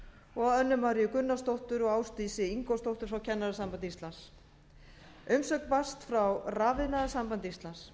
og önnu maríu gunnarsdóttur og ásdísi ingólfsdóttur frá kennarasambandi íslands umsögn barst frá rafiðnaðarsambandi íslands